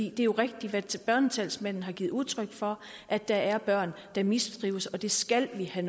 er jo rigtigt hvad børnetalsmanden har givet udtryk for at der er børn der mistrives og det skal vi have